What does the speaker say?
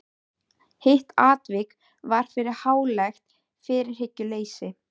Hitt atvikið varð fyrir hlálegt fyrirhyggjuleysi.